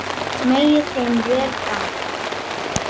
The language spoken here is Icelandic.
Megi þeim vel ganga.